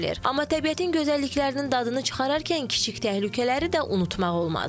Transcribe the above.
Amma təbiətin gözəlliklərinin dadını çıxararkən kiçik təhlükələri də unutmamaq olmaz.